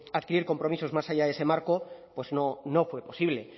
adquirir compromisos más allá de ese marco pues no fue posible